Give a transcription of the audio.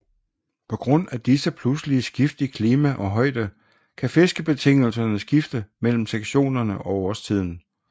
På grund af disse pludselige skift i klima og højde kan fiskebetingelserne skifte mellem sektionerne og årstiden